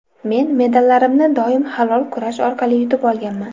Men medallarimni doim halol kurash orqali yutib olganman.